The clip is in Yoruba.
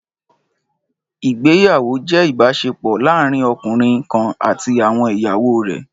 Ìgbéyàwó jẹ́ ìbáṣepọ̀ láàárín ọkùnrin kan àti àwọn ìyàwó rẹ̀